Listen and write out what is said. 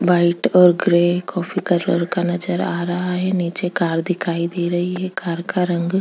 white और grey coffee colour का नज़र आ रहा है नीचे कार दिखाई दे रही है कार का रंग--